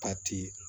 Ba ti